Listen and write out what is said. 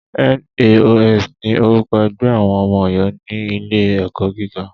NAOS ni orúkọ ẹgbẹ́ àwọn ọmọ Ọ̀yọ́ ní ilé ẹ̀kọ́ gíga.